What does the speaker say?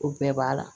O bɛɛ b'a la